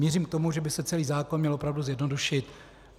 Mířím k tomu, že by se celý zákon měl opravdu zjednodušit.